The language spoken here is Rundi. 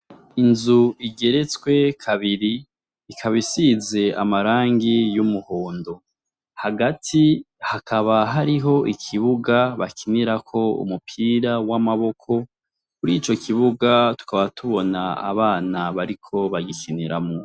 Inzu igeretswe kabiri ikaba isize amarangi y'umuhondo, hagati hakaba hariho ikibuga bakinirako umupira w'amaboko murico kibuga tukaba tubona abana bariko bagikiniramwo.